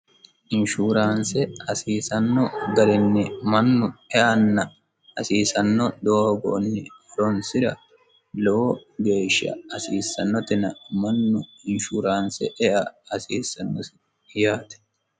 Insurance hasiisano garinni mannu eanna hasiisano doogonni horonsira lowo geeshsha hasiisanotenna insurance ea hasiisano yaate.